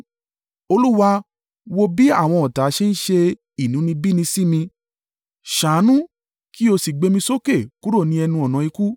Olúwa, wo bí àwọn ọ̀tá ṣe ń ṣe inúnibíni sí mi! Ṣàánú, kí o sì gbé mí sókè kúrò ní ẹnu-ọ̀nà ikú,